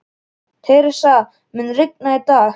Theresa, mun rigna í dag?